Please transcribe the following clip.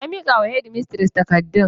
Ya mika wa shedimistres takardun.